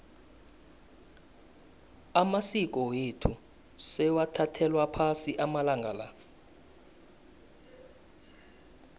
amasiko wethu sewathathelwa phasi amalanga la